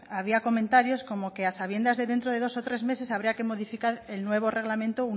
había comentarios como que a sabiendas de dos o tres meses habría que modificar el nuevo reglamento